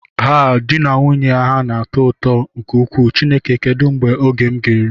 Haa, di na nwunye a na-atọ ụtọ nke ukwuu, Chineke kedu mgbe oga eru m?